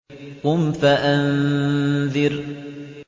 قُمْ فَأَنذِرْ